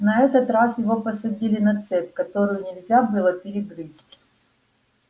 на этот раз его посадили на цепь которую нельзя было перегрызть